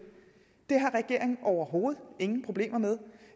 det har regeringen overhovedet ingen problemer med